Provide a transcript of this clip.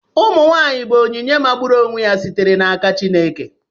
Ụmụ nwanyị bụ onyinye magburu onwe ya sitere n'aka Chineke.